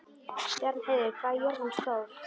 Bjarnheiður, hvað er jörðin stór?